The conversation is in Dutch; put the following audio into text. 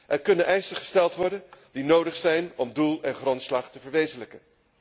Er kunnen eisen gesteld worden die nodig zijn om doel en grondslag te verwezenlijken.